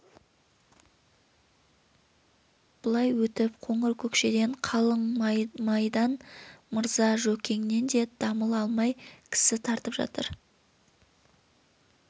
былай өтіп қоңыр-көкшеден қалың мамайдан мырза жөкеңнен де дамыл алмай кісі тартып жатыр